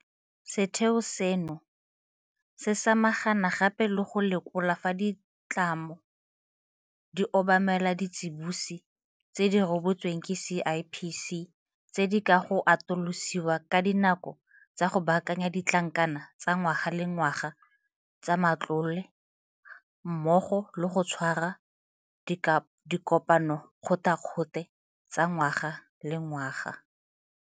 Setheo seno se samagana gape le go lekola fa ditlamo di obamela ditsiboso tse di rebotsweng ke CIPC, tse di ka ga go atolosiwa ga dinako tsa go baakanya ditlankana tsa ngwaga le ngwaga tsa matlole mmogo le go tshwara dikopanokgothakgothe tsa ngwaga le ngwaga.